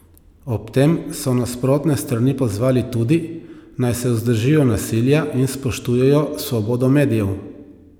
Ob tem so nasprotne strani pozvali tudi, naj se vzdržijo nasilja in spoštujejo svobodo medijev.